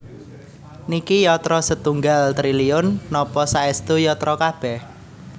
Niki yatra setunggal triliun napa saestu yatra kabeh?